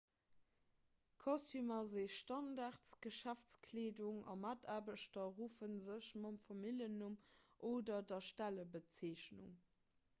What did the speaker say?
kostümer si standardgeschäftskleedung a mataarbechter ruffe sech mam familljennumm oder der stellebezeechnung